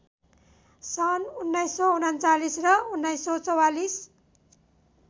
सन् १९३९ र १९४४